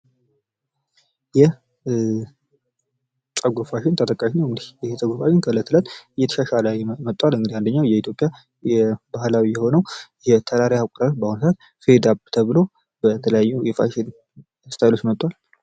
ይህ ፀጉር ፋሽን ተጠቃሽ ነዉ። ይህ ፀጉር ፋሽን እለት እለት እየተሻሻለ መጥቷል። አንደኛዉ የኢትዮጵያ የባህላዊ ፌድ አፕ የሆነዉ በተለያዩ ስታይሎች መጥቷል።